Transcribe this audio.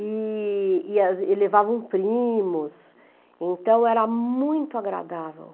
E e as e levavam primos, então era muito agradável.